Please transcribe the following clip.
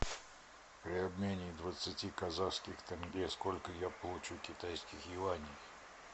при обмене двадцати казахских тенге сколько я получу китайских юаней